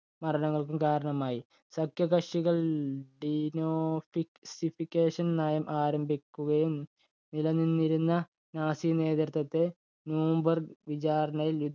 മരണങ്ങൾക്കും കാരണമായി. സഖ്യകക്ഷികൾ dinosification നയം ആരംഭിക്കുകയും നില നിന്നിരുന്ന നാസിനേതൃത്വത്തെ nyoomberg വിചാരണയിൽ